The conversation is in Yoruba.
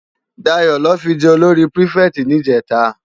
Dayo lò fi jè ólóri pirifèti nijètá